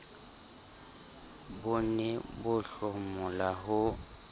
bo ne bo hlomola ho